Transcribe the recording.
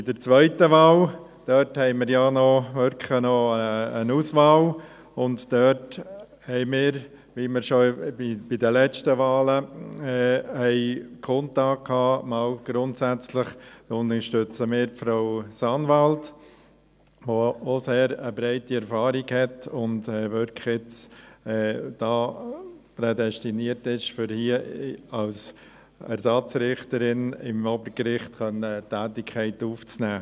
Bei der zweiten Wahl haben wir ja wirklich noch eine Auswahl, und dort unterstützen wir – wie wir es schon bei den letzten Wahlen grundsätzlich kundgetan hatten – Frau Sanwald, die auch über eine sehr breite Erfahrung verfügt und wirklich prädestiniert ist, um hier als Ersatzrichterin am Obergericht eine Tätigkeit aufzunehmen.